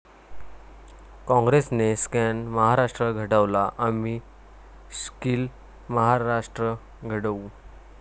काँग्रेसने स्कॅम महाराष्ट्र घडवला आम्ही स्कील महाराष्ट्र घडवू'